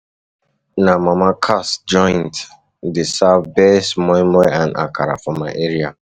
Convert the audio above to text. Na Mama Cass joint dey serve best moi moi and akara for my area.